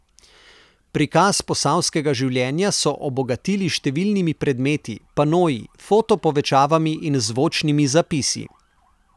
Prikaz posavskega življenja so obogatili s številnimi predmeti, panoji, foto povečavami in zvočnimi zapisi.